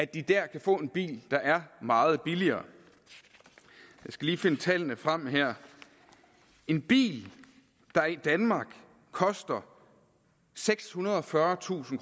de der kan få en bil der er meget billigere jeg skal lige finde tallene frem her en bil der i danmark koster sekshundrede og fyrretusind